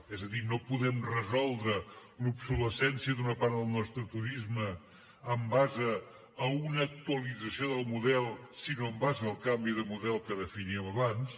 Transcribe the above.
és a dir no podem resoldre l’obsolescència d’una part del nostre turisme en base a una actualització del model sinó en base al canvi de model que definíem abans